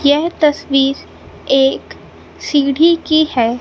यह तस्वीर एक सीढी की है।